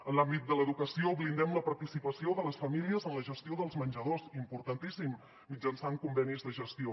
en l’àmbit de l’educació blindem la participació de les famílies en la gestió dels menjadors importantíssim mitjançant convenis de gestió